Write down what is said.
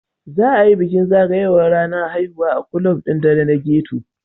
Za a yi bukin zagayowar ranar haihuwa a ƙulab ɗin ɗare na ghetto.